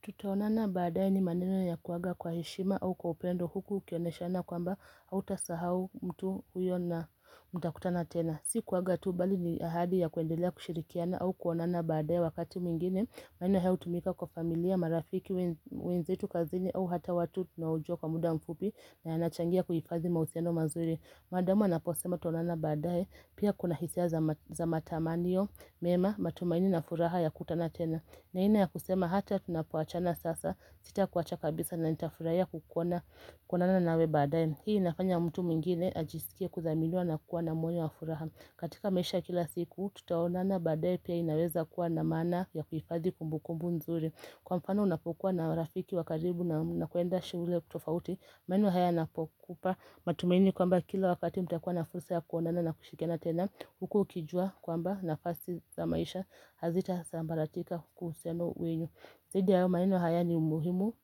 Tutaonana baadaye ni maneno ya kuaga kwa heshima au kwa upendo huku ukioneshana kwamba hautasahau mtu huyo na mta kutana tena. Si kuaga tu bali ni ahadi ya kuendelea kushirikiana au kuonana baadaye wakati mwingine, maneno haya hutumika kwa familia, marafiki wenzetu kazini au hata watu tunaojua kwa muda mfupi na yanachangia kuhifadhi mahusiano mazuri. Maadamu anaposema tutaonana baadaye, pia kuna hisia za matamaniyo mema matumaini na furaha ya kutana tena. Na aina ya kusema hata tunapoachana sasa sitakuwacha kabisa na nitafurahia ya kukuona kuonana nawe baadaye. Hii inafanya mtu mwingine ajisikie kudhaminiwa na kuwa na moyo wa furaha. Katika maisha ya kila siku tutaonana baadaye pia inaweza kuwa na maana ya kuhifadhi kumbukumbu nzuri Kwa mfano unapokuwa na rafiki wa karibu na mnakwenda shule tofauti maneno haya yanapokupa matumaini kwamba kila wakati mtakuwa na fursa ya kuonana na kushikana tena Huku ukijua kwamba nafasi za maisha hazitasambaratika kwa uhusiano wenu. Zaidi ya hayo maneno haya ni muhimu